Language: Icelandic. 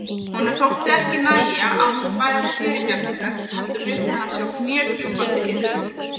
Honum þótti ekki nægja að hún bæði fyrirgefningar heldur vildi hann sjá knékrjúpandi iðrun.